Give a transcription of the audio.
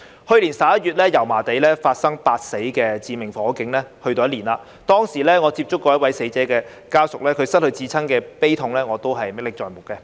去年11月，油麻地發生8死的致命火警，已有一年，當時，我曾接觸一位死者家屬，他失去至親的悲痛，我仍然歷歷在目。